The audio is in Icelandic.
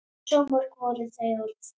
Svo mörg voru þau orð!